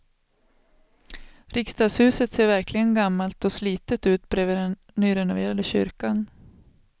Riksdagshuset ser verkligen gammalt och slitet ut bredvid den nyrenoverade kyrkan.